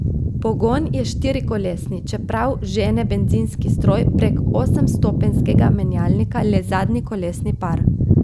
Pogon je štirikolesni, čeprav žene bencinski stroj prek osemstopenjskega menjalnika le zadnji kolesni par.